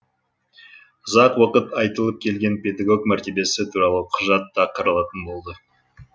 ұзақ уақыт айтылып келген педагог мәртебесі туралы құжат та қаралатын болды